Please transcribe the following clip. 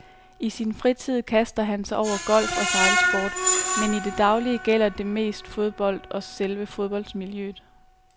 I sin fritid kaster han sig over golf og sejlsport, men i det daglige gælder det mest fodbold og selve fodboldmiljøet.